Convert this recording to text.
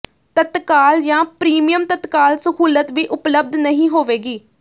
ਤਤਕਾਲ ਜਾਂ ਪ੍ਰੀਮੀਅਮ ਤਤਕਾਲ ਸਹੂਲਤ ਵੀ ਉਪਲਬਧ ਨਹੀਂ ਹੋਵੇਗੀ